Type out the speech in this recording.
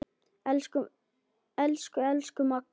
Elsku, elsku Magga.